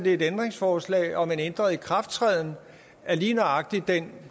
et ændringsforslag om en ændret ikrafttræden af lige nøjagtig den